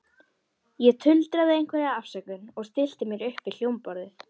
Ég tuldraði einhverja afsökun og stillti mér upp við hljómborðið.